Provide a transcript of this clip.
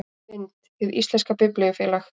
Mynd: Hið íslenska Biblíufélag